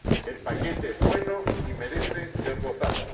El paquete es bueno y merece ser votado.